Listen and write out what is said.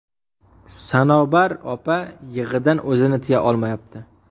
Sanobar opa yig‘idan o‘zini tiya olmayapti.